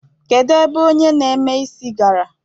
Kedu ebe onye na-eme isi gara?